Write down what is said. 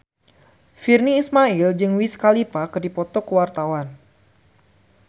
Virnie Ismail jeung Wiz Khalifa keur dipoto ku wartawan